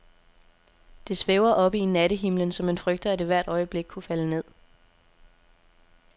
Det svæver oppe i nattehimlen, så man frygter, at det hvert øjeblik kunne falde ned.